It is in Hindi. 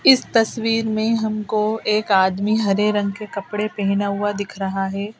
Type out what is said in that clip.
इस तस्वीर में हमको एक आदमी हरे रंग के कपड़े पहना हुआ दिख रहा है--.